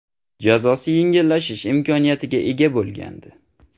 jazosi yengillashish imkoniyatiga ega bo‘lgandi.